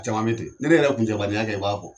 Caman nɛten ni ne yɛrɛ kuncɛbaninya kɛ i b'a fɔ